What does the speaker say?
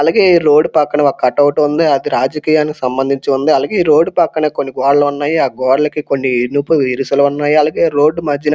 అలాగే రోడ్డు పక్కన ఒక కట్ అవుట్ ఉంది అది రాజకీయానికి సంబంధించి ఉంది అలాగే ఈ రోడ్డు పక్కన కొన్ని గోడలు ఉన్నాయి ఆ గోడలకి కొన్ని ఇనుప ఇరుసులు ఉన్నాయి అలగే రోడ్డ్ మధ్యలో --